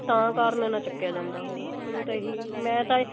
ਤਾਂ ਕਾਰਨ ਨਾ ਵੀ ਚੱਕਿਆ ਜਾਂਦਾ ਹੋਵੇ ਮੈਨੂੰ ਤਾ ਇਹੀ ਮੈਂ ਤਾਂ ਇਹੀ